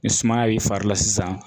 Ni sumaya b'i fari la sisan